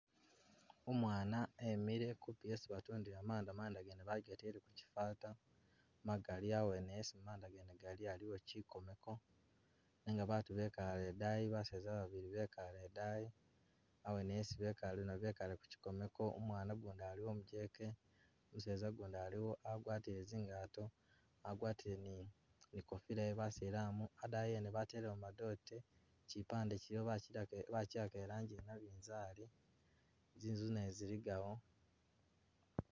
Umwana emile kumpi esi batundila manda, manda gene bagatele mukhifata, magali awene esi Manda gali aliwo kyikomeko, nenga batu bekale idaayi, baseza babili bekale idaani, awene esi bekale aliwo kyikomeko, umwana gundi aliwo umujeke, umuseza gundi aliwo agwatile zingato, agwatile ni ikofila ye basilamu, adaayi ene batelewo madote, kyipande kyiliwo bakyidako i- bakyiwaka irangi i yanabizali, zinzu nazo ziligawo